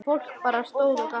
Fólk bara stóð og gapti.